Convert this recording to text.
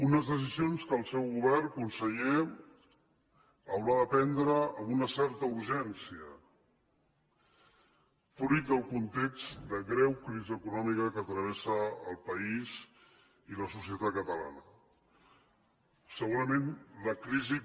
unes decisions que el seu govern conseller haurà de prendre amb una certa urgència fruit del context de greu crisi econòmica que travessa el país i la societat catalana segurament la crisi